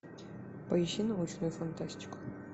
поищи научную фантастику